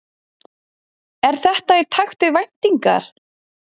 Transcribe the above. Er þetta í takt við væntingar